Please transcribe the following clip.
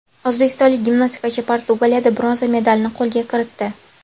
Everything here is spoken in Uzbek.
O‘zbekistonlik gimnastikachi Portugaliyada bronza medalni qo‘lga kiritdi.